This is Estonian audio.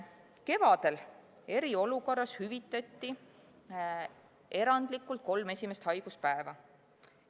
Kevadel eriolukorras hüvitati erandlikult kolm esimest haiguspäeva.